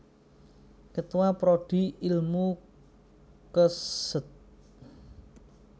Ketua Prodi Ilmu Kesj